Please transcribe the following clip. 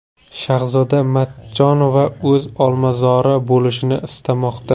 Shahzoda Matchonova o‘z olmazori bo‘lishini istamoqda.